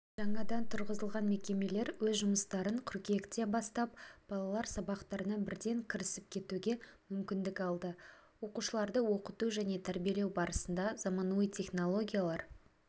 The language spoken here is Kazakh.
жаңадан тұрғызылған мекемелер өз жұмыстарын қыркүйекте бастап балалар сабақтарына бірден кірісіп кетуге мүмкіндік алды оқушыларды оқыту және тәрбиелеу барысында заманауи технологиялар